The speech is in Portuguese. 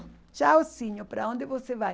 Tchauzinho, para onde você vai?